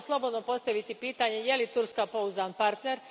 Možemo slobodno postaviti pitanje je li Turska pouzdan partner.